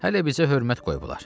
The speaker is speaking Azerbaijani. Hələ bizə hörmət qoyublar.